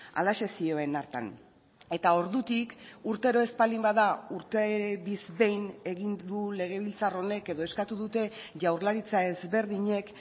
halaxe zioen hartan eta ordutik urtero ez baldin bada urte behin egin du legebiltzar honek edo eskatu dute jaurlaritza ezberdinek